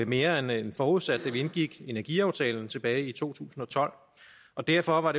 mere end forudsat da vi indgik energiaftalen tilbage i to tusind og tolv og derfor var